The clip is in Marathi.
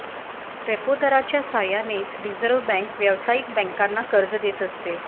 रेपो दराच्या साह्यानेच रिझर्व्ह बँक व्यावसायिक बँकांना कर्ज देत असते